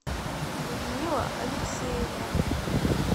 людмила алексеевна